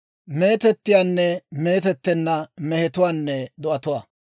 «Hintte tunabaa ayaanne mooppite.